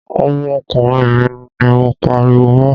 Ọmọkùnrin mi ni mo ń pariwo mọ́.